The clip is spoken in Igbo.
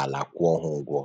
ala kwụọ ha ụgwọ